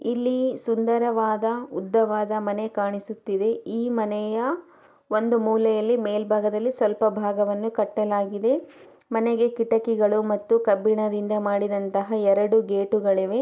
ಇಲ್ಲಿ ಸುಂದರವಾದ ಉದ್ದವಾದ ಮನೆ ಕಾಣಿಸ್ತಾ ಇದೆ ಈ ಮನೆಯ ಒಂದು ಮೂಲೆಯಲ್ಲಿ ಮೇಲ್ಬಾಗದಲ್ಲಿ ಸ್ವಲ್ಪ ಭಾಗವನ್ನು ಕಟ್ಟಲಾಗಿದೆ ಮನೆಗೆ ಕಿಟಕಿಗಳು ಮತ್ತು ಕಬ್ಬಿಣದಿಂದ ಮಾಡಿದಂತಹ ಎರಡು ಗೇಟುಗಳಿವೆ.